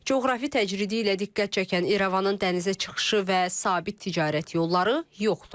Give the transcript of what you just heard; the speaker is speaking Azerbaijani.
Coğrafi təcridi ilə diqqət çəkən İrəvanın dənizə çıxışı və sabit ticarət yolları yoxdur.